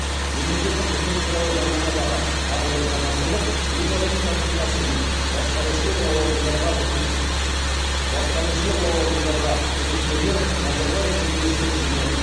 мемлекеттік қызмет туралы заңнамадағы тағы бір жаңашылдық елбасының тапсырмасымен басқарушылық лауазымдарға үміткерлер назарбаев университеті және